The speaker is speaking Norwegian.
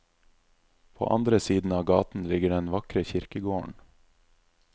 På andre siden av gaten ligger den vakre kirkegården.